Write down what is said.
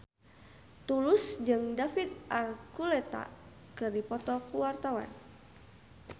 Tulus jeung David Archuletta keur dipoto ku wartawan